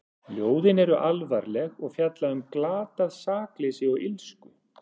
Ljóðin eru alvarleg og fjalla um glatað sakleysi og illsku.